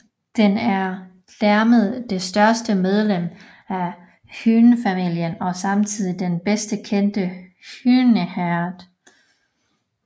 Den er dermed det største medlem af hyænefamilien og samtidig den bedst kendte hyæneart